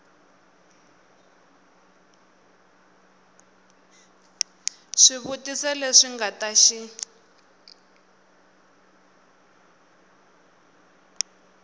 swivutiso leswi nga ta xi